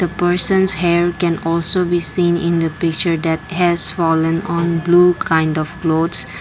a persons hair can also be seen in the picture that has fallen on blue kind of clothes.